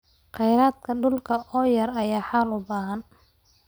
Khayraadka dhulka oo yar ayaa xal u baahan.